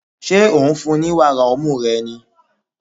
Ṣé ò ń fún-un ní wàrà ọmú rẹ ni?